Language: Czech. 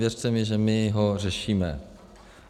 Věřte mi, že my ho řešíme.